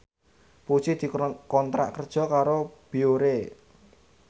Puji dikontrak kerja karo Biore